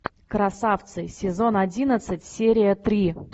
красавцы сезон одиннадцать серия три